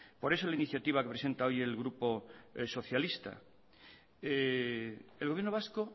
por eso la iniciativa que presenta hoy el grupo socialista el gobierno vasco